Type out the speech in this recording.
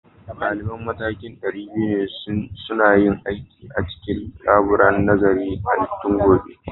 Daliban matakin ɗari biyu suna yin aiki a cikin laburar nazarin halittu gobe